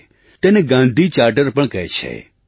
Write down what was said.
તેને Gandhi charter Gandhi charter પણ કહે છે